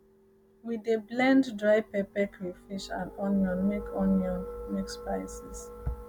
um we dey blend um dry pepper crayfish and onion make onion make spices